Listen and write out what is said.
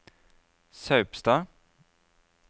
Saupstad